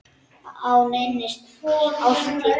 á neinni árstíð.